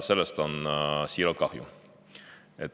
Sellest on siiralt kahju.